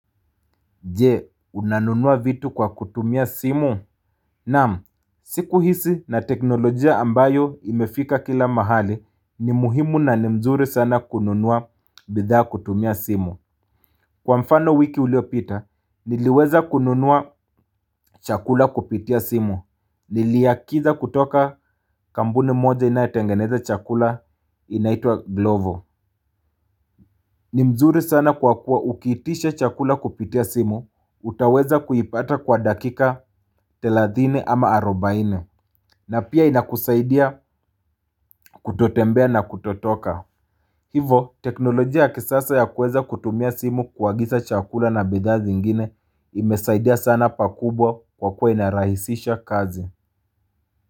Je, unanunua vitu kwa kutumia simu? Naam, siku hizi na teknolojia ambayo imefika kila mahali ni muhimu na ni mzuri sana kununua bidhaa kutumia simu. Kwa mfano, wiki uliopita, niliweza kununua chakula kupitia simu. Niliagiza kutoka kampuni moja inayotengeneza chakula inaitwa Glovo. Ni mzuri sana kwa kuwa ukiitisha chakula kupitia simu, utaweza kuipata kwa dakika 30 ama 40, na pia inakusaidia kutotembea na kutotoka. Hivyo, teknolojia ya kisasa ya kuweza kutumia simu kuagiza chakula na bidhaa zingine imesaidia sana pakubwa kwa kuwa inarahisisha kazi.